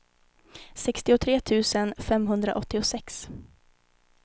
sextiotre tusen femhundraåttiosex